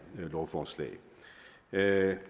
lovforslag